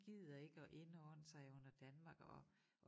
Gider ikke at indordne sig under Danmark og